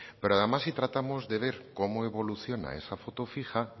pero además si tratamos de ver cómo evoluciona esa foto fija